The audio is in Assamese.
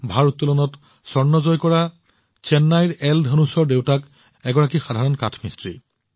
ভাৰাত্তোলনত স্বৰ্ণ জয় কৰা চেন্নাইৰ এল ধনুশৰ পিতৃও এজন সাধাৰণ কাঠমিস্ত্ৰী